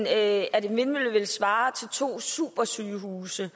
at en vindmølle ville svare til to supersygehuse